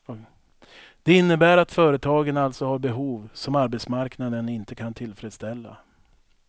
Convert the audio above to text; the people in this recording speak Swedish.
Det innebär att företagen alltså har behov som arbetsmarknaden inte kan tillfredsställa.